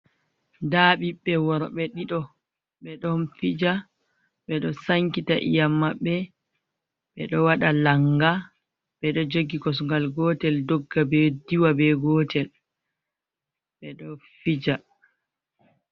Nda ɓiɓɓe worɓe ɗiɗo, ɓe ɗon fija. Ɓe ɗo sankita iyam maɓɓe, ɓe ɗo waɗa langa. Ɓe ɗo jogi kosungal gootel dogga be, diwa be gootel, ɓe ɗo fija.